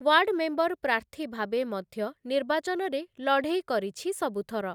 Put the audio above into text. Ward member ପ୍ରାର୍ଥୀ ଭାବେ ମଧ୍ୟ ନିର୍ବାଚନରେ ଲଢ଼େଇ କରିଛି ସବୁଥର ।